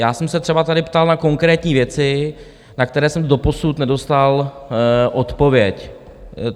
Já jsem se třeba tady ptal na konkrétní věci, na které jsem doposud nedostal odpověď.